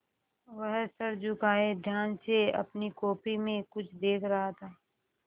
वह सर झुकाये ध्यान से अपनी कॉपी में कुछ देख रहा था